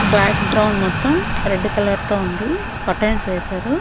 Back ground మొత్తం red colour తో ఉంది కర్టెన్స్ వేశారు.